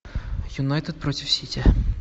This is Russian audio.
юнайтед против сити